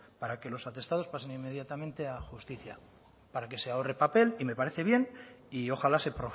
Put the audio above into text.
para que los atestados pasen inmediatamente a justicia para que se ahorre papel y me parece bien y ojalá se